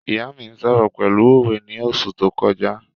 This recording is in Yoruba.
ìyá mí sọ̀rọ̀ pẹ̀lú òwe ni oṣù tó kọjá